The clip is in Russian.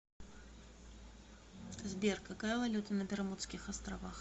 сбер какая валюта на бермудских островах